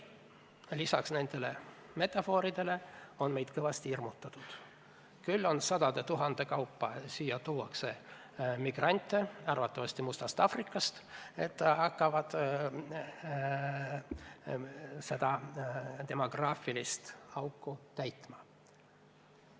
Lisaks nendele metafooridele on meid kõvasti hirmutatud: küll tuuakse siia sadade tuhandete kaupa migrante, arvatavasti Mustast Aafrikast, kes hakkavad seda demograafilist auku täitma.